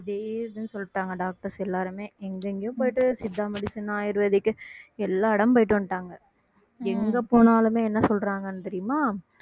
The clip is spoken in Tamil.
சொல்லிட்டாங்க doctors எல்லாருமே எங்கெங்கேயோ போயிட்டு சித்தா medicine ஆயுர்வேதிக் எல்லா இடம் போயிட்டு வந்துட்டாங்க எங்க போனாலுமே என்ன சொல்றாங்கன்னு தெரியுமா